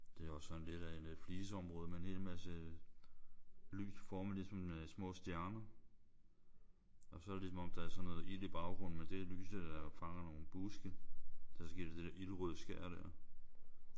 Det er også sådan lidt af et fliseområde med en hel masse lys formet ligesom små stjerner. Og så er det ligesom der er sådan noget ild i baggrunden men det er lyset der fanger nogle buske. Og så giver det det der ildrøde skær der